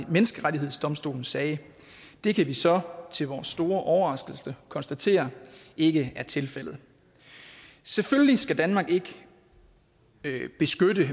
menneskerettighedsdomstolen sagde det kan vi så til vores store overraskelse konstatere ikke er tilfældet selvfølgelig skal danmark ikke beskytte